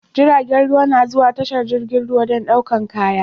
Jiragan ruwa na zuwa tashar jirgin ruwa dan ɗaukan kaya